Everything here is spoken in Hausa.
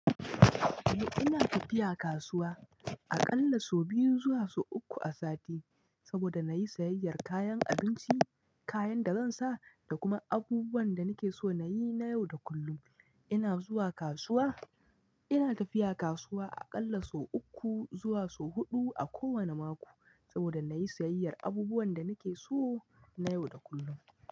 Eh ina tafiya kasuwa aƙalla sau biyu zuwa sau uku a sati saboda na yi sayayyar kayan abinci, kayan da zan sa da kuma abubuwan da nake so na yi na yau da kullum. Ina zuwa kasuwa, ina tafiya kasuwa aƙalla sau uku zuwa sau huɗu a kowane mako saboda na yi sayayyar abubuwan da nake so na yau da kullum.